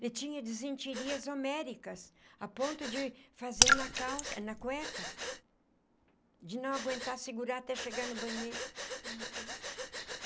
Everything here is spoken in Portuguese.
Ele tinha desinterias homéricas a ponto de fazer na calça na cueca, de não aguentar segurar até chegar no banheiro. Uhum.